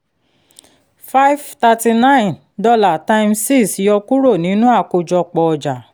five thirty nine dollar times six yọ kúrò nínú àkójọpọ ọjà